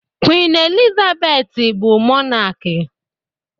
Queen Elizabeth bu Mọnaki.